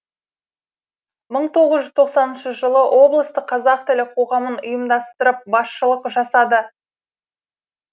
мың тоғыз жүз тоқсаныншы жылы облыстық қазақ тілі қоғамын ұйымдастырып басшылық жасады